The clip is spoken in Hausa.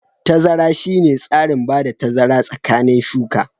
Tazara shine tsarin bada tazara tsakanin shuka.